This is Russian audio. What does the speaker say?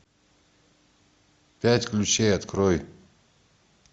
пять ключей открой